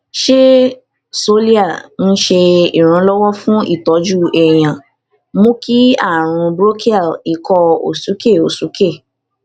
ṣé xolair ńse iranlowo fun itoju èèyàn mú kí àrùn bronchial ikọ òsúkè òsúkè